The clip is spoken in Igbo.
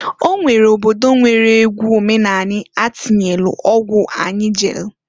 Onwere obodo nwere egwu omenani atịnyelu ọgwụ anyi jelu.